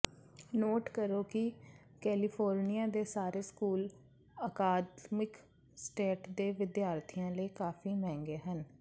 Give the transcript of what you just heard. note ਕਰੋ ਕਿ California ਦੇ ਸਾਰੇ ਸਕੂਲ ਅਕਾਦਮਿਕ ਸਟੇਟ ਦੇ ਵਿਦਿਆਰਥੀਆਂ ਲਈ ਕਾਫੀ ਮਹਿੰਗੇ ਹਨ